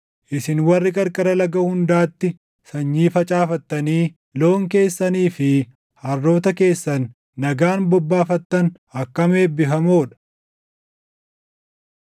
isin warri qarqara laga hundaatti sanyii facaafattanii loon keessanii fi harroota keessan nagaan bobbaafattan akkam eebbifamoo dha.